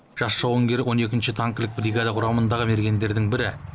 жас жауынгер он екінші танкілік бригада құрамындағы мергендердің бірі